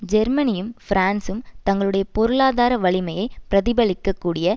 ஜெர்மனியும் பிரான்சும் தங்களுடைய பொருளாதார வலிமையை பிரதிபலிக்கக் கூடிய